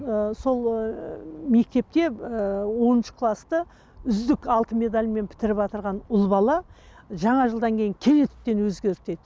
ы сол мектепте ыыы оныншы класты үздік алтын медальмен бітіріватырған ұл бала жаңа жылдан кейін кенеттен өзгерді дейді